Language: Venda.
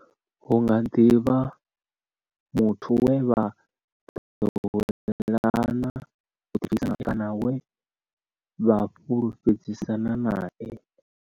Hu nga ḓi vha muthu we vha ḓowela u ḓibvisa nae kana we vha fhulufhedzisana nae.